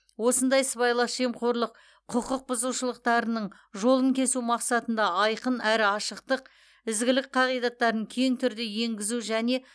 осындай сыбайлас жемқорлық құқық бұзушылықтарының жолын кесу мақсатында айқын әрі ашықтық ізгілік қағидаттарын кең түрде енгізу және